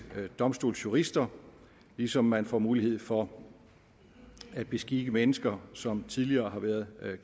domstolsjurister ligesom man får mulighed for at beskikke mennesker som tidligere har været